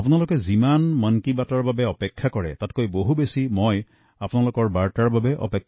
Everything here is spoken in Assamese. আপোনালোকে যিমান মন কী বাত অনুষ্ঠানৰ অপেক্ষা কৰে তাতকৈ অধিক অপেক্ষাত মই থাকো আপোনালোকৰ খাখবৰৰ বাবে